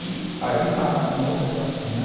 E aí está um outro desafio, né?